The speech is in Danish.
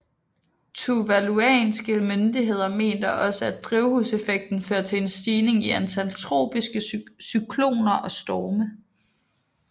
Tuvaluanske myndigheder mener også at drivhuseffekten fører til en stigning i antal tropiske cykloner og storme